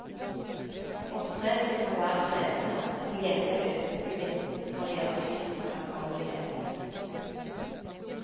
Opptreningen kan være krevende, til gjengjeld økes gevinsten når det gjelder fysisk fremkommelighet.